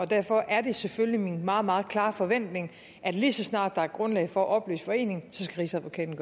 derfor er det selvfølgelig min meget meget klare forventning at lige så snart der er grundlag for at opløse foreningen skal rigsadvokaten